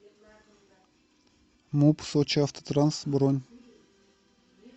муп сочиавтотранс бронь